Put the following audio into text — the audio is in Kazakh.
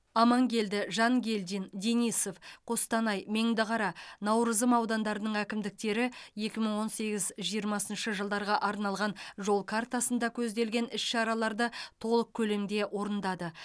амангелді жангелдин денисов қостанай меңдіқара наурызым аудандарының әкімдіктері екі мың он сегіз жиырмасыншы жылдарға арналған жол картасында көзделген іс шараларды толық көлемде орындады